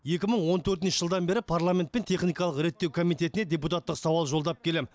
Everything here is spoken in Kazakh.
екі мың он төртінші жылдан бері парламент пен техникалық реттеу комитетіне депутаттық сауал жолдап келем